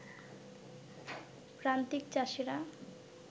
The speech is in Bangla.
প্রান্তিক চাষীরা